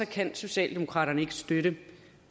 kan socialdemokraterne ikke støtte